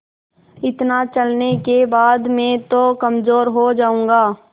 इतना चलने के बाद मैं तो कमज़ोर हो जाऊँगा